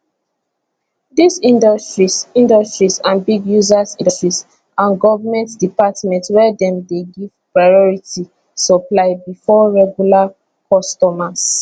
dis industries industries and big users industries and goment departments wey dem dey give priority supply bifor regular customers